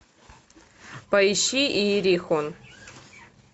поищи иерихон